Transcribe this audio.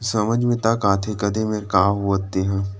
समझ में तक आथे कदे मेंर का होवत हे तेहा--